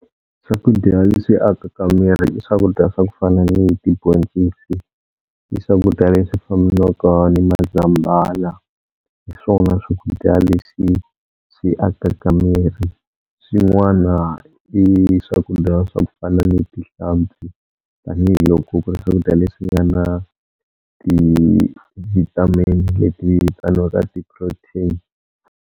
Swakudya leswi akaka miri i swakudya swa ku fana ni tibhoncisi i swakudya leswi fambelaka ni mazambhala, hi swona swakudya leswi swi akaka miri. Swin'wana i swakudya swa ku fana ni tihlampfi, tanihiloko ku ri swakudya leswi nga na ti-vitamin leti vitaniwaka ti-protein.